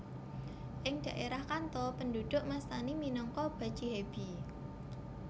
Ing dhaerah Kanto penduduk mastani minangka bachihebi